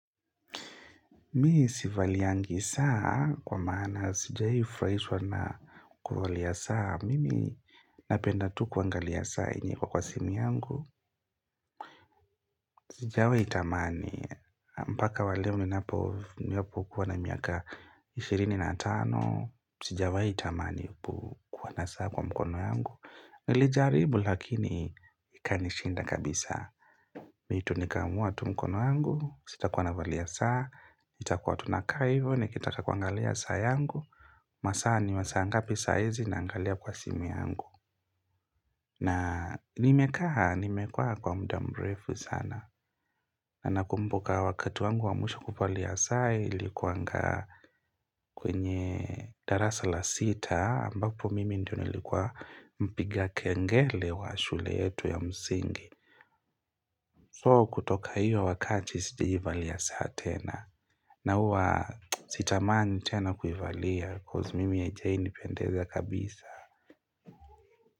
Mimi sivaliyagi saa, kwa maana sijawahi furahishwa na kuvalia saa, mimi napenda tu kuangalia saa yenye iko kwa simu yangu. Sijawahi itamani, mpaka waleo ninapo ninapo kwa na miaka ishirini tani, sijawahi tamani ku kuwa na saa kwa mkono yangu. Nili jaribu lakini ikanishinda kabisa. Vitu ni kamua tu mkono yangu, sita kuwa navalia saa, ita kwa tu nakaa hivyo, nikitaka kuangalia saa yangu. Masaa ni masaa ngapi saa hizi na angalia kwa simu yangu. Na nimekaa, nimekuwa kwa mda mrefu sana. Na ninakumbuka wakati wangu wa mwisho kuvalia saa, ilikuwaga kwenye darasa la sita, ambapo mimi ndiyo nilikuwa mpiga kengele wa shule yetu ya msingi. So kutoka hiyo wakati si valia saa tena. Na huwa sitamani tena kuivalia, cause mimi haijawahi pendeza kabisa.